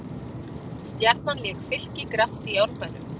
Stjarnan lék Fylki grátt í Árbænum